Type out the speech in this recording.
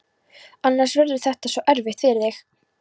Annars verður þetta svo erfitt fyrir þig.